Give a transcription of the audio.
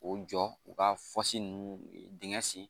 K'o jɔ u ka ninnu dingɛ sen